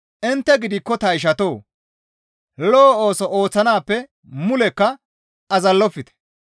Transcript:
Intte gidikko ta ishatoo! Lo7o ooso ooththanaappe mulekka azallofte.